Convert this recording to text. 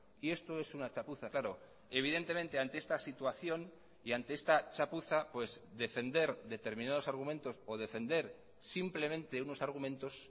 y esto es una chapuza claro evidentemente ante esta situación y ante esta chapuza pues defender determinados argumentos o defender simplemente unos argumentos